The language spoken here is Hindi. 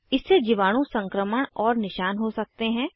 इससे जीवाणु संक्रमण और निशान हो सकते हैं